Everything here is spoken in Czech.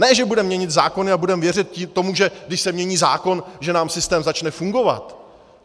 Ne že budeme měnit zákony a budeme věřit tomu, že když se změní zákon, že nám systém začne fungovat.